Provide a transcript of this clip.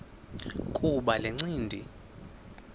kuba le ncindi